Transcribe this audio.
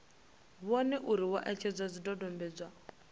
vhone uri vho etshedza zwidodombedzwa